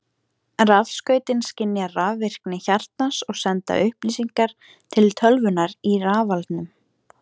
Rafskautin skynja rafvirkni hjartans og senda upplýsingar til tölvunnar í rafalnum.